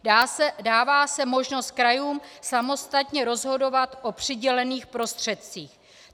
Dává se možnost krajům samostatně rozhodovat o přidělených prostředcích.